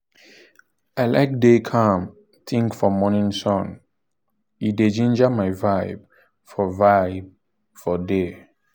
i like do calm-think for morning sun — e dey ginger my vibe for vibe for day."